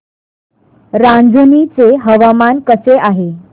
रांझणी चे हवामान कसे आहे